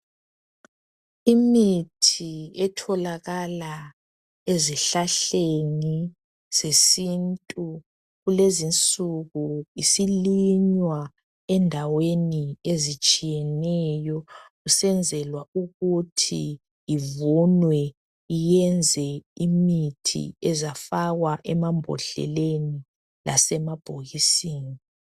Imithi etholakala ezihlahleni zesintu kulezinsuku isilinywa endaweni ezitshiyeneyo kusenzelwa ukuthi ivunwe iyenze imithi ezafakwa emambodleleni lasemabhokisini.